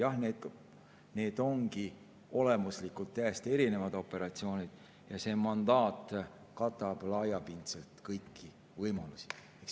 Jah, need ongi olemuslikult täiesti erinevad operatsioonid ja see mandaat katab laiapindselt kõiki võimalusi.